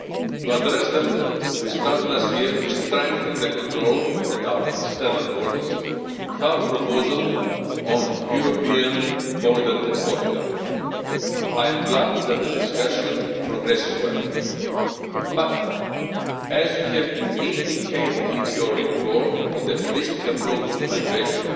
To address them, we started last year to strengthen the control at our external borders with our proposal on the European Border and Coast Guard. I am glad that the discussion progresses well, but, as you have indicated in your report on the Holistic Approach to Migration,